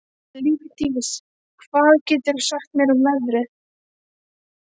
Lífdís, hvað geturðu sagt mér um veðrið?